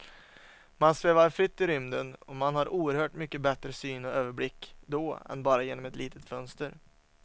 Man svävar fritt i rymden och man har oerhört mycket bättre syn och överblick då än bara genom ett litet fönster.